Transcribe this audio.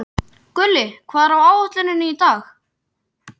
Gulli, hvað er á áætluninni minni í dag?